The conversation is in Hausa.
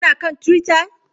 Kuna kan Twitter?